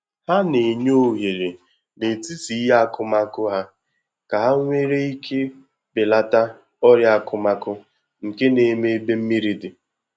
Ha na enye ohere na etiti ihe akụmakụ ha ka ha nwere ike belata ọrịa akụmakụ nke na-eme ebe mmiri di